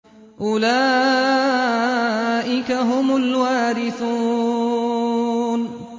أُولَٰئِكَ هُمُ الْوَارِثُونَ